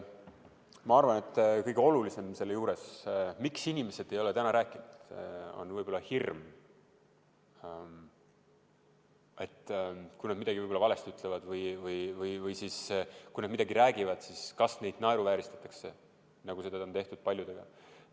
Ma arvan, et kõige olulisem põhjus, miks inimesed ei ole rääkinud, on hirm, et kui nad midagi võib-olla valesti ütlevad või kui nad midagi räägivad, siis neid naeruvääristatakse, nagu seda on paljude puhul juhtunud.